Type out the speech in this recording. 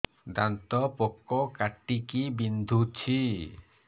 ଦାନ୍ତ ପୋକ କାଟିକି ବିନ୍ଧୁଛି